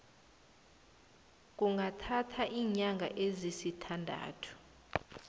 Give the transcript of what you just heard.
kungathatha iinyanga ezisithandathu